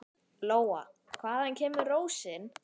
Lóa: Hvaðan kemur rósin?